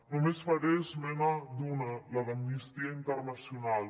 només faré esment d’una la d’amnistia internacional